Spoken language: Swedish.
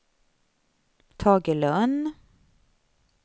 Tage Lönn